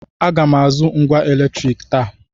Aga m azụ ngwá eletriiki taa.